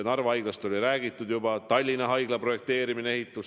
Narva Haiglast on juba räägitud, aga on ka Tallinna Haigla projekteerimine ja ehitus.